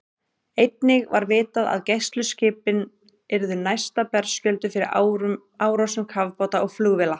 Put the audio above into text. Einnig var vitað, að gæsluskipin yrðu næsta berskjölduð fyrir árásum kafbáta og flugvéla.